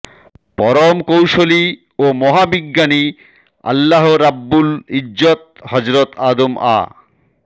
পরম কৌশলী ও মহাবিজ্ঞানী আল্লাহ রাব্বুল ইজ্জত হযরত আদম আ